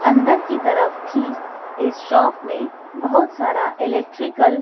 अंदर की तरफ भी इस शॉप में बहुत सारा इलेक्ट्रिकल --